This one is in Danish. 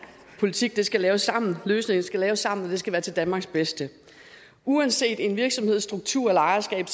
politik skal laves sammen løsninger skal laves sammen og det skal være til danmarks bedste uanset en virksomheds struktur eller ejerskab